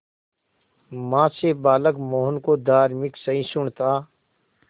मां से बालक मोहन को धार्मिक सहिष्णुता